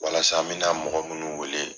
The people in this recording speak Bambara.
Walasa mi na mɔgɔ munun wele